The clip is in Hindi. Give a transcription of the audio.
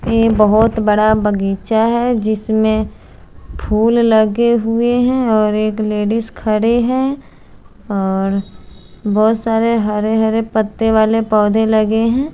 एक बहोत बड़ा बगीचा है जिसमे फुल लगे हुए है और एक लेडीज खड़ी है और बहोत सारे हरे हरे पत्ते वाले पोधे लगे है।